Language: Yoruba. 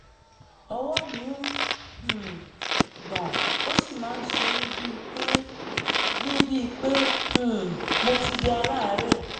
ọwọ́ mi ń um gbọ̀n ó sì máa ń ṣe mí bíi pé mí bíi pé um mo ti di aláàárẹ̀